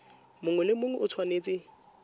mongwe le mongwe o tshwanetse